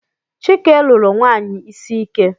Chike lụru nwanyị isi ike